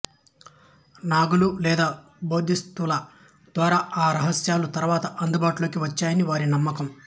నాగులు లేదా బోధిసత్వుల ద్వారా ఆ రహస్యాలు తరువాత అందుబాటులోకి వచ్చాయని వారి నమ్మకం